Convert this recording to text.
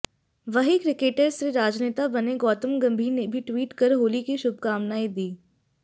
वहीं क्रिकेटर से राजनेता बने गौतम गंभीर ने भी ट्वीट कर होली की शुभकामनाएं दी